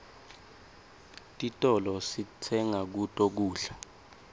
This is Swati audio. titolo sitenga kuto kudla